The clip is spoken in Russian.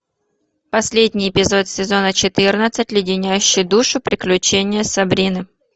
последний эпизод сезона четырнадцать леденящие душу приключения сабрины